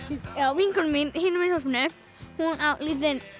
vinkona mín hinum megin í þorpinu á lítinn